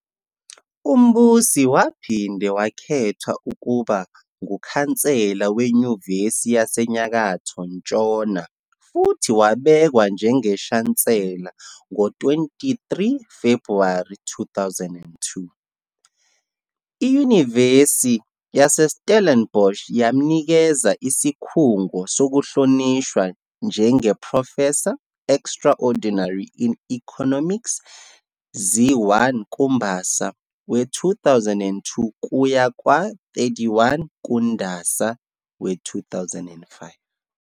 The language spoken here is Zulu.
UMbusi waphinde wakhethwa ukuba kuKhansela weNyuvesi yaseNyakatho-Ntshona futhi wabekwa njengeShansela ngo-23 Febhuwari 2002. IYunivesithi yaseStellenbosch yamminkeza isikhungo sokuhlonishwa njengoProfessor Extraordinary in Economics zi-1 kuMbasa we-2002 kuya kwa-31 kuNdasa we-2005.